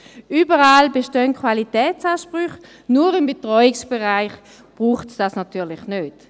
Überall bestehen Qualitätsansprüche, nur im Betreuungsbereich braucht es dies natürlich nicht.